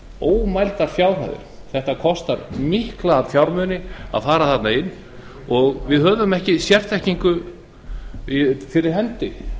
ómældar fjárhæðir það kostar mikla fjármuni að fara þarna inn og við höfum ekki sérþekkingu til